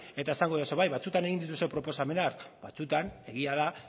eta esango didazu bai batzuetan egin dituzue proposamenak batzuetan egia da